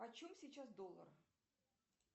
почем сейчас доллар